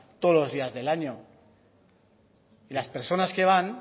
todos los días del año y las personas que van